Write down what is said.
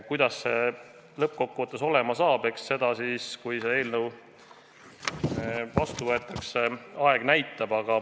Kuidas see lõppkokkuvõttes olema saab, eks seda näitab aeg, kui see eelnõu vastu võetakse.